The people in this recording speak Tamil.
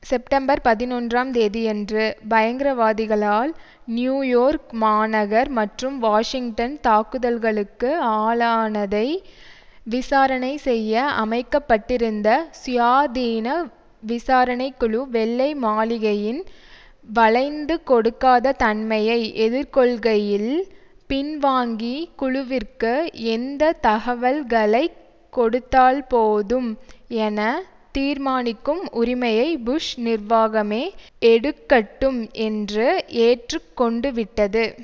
செப்டம்பர் பதினொன்றாம் தேதியன்று பயங்கரவாதிகளால் நியூயோர்க் மாநகர் மற்றும் வாஷிங்டன் தாக்குதல்களுக்கு ஆளானதை விசாரணை செய்ய அமைக்க பட்டிருந்த சுயாதீன விசாரணை குழு வெள்ளை மாளிகையின் வளைந்துகொடுக்காத தன்மையை எதிர்கொள்கையில் பின்வாங்கி குழுவிற்கு எந்த தகவல்களை கொடுத்தால்போதும் என தீர்மானிக்கும் உரிமையை புஷ் நிர்வாகமே எடுக்கட்டும் என்று ஏற்றுக்கொண்டுவிட்டது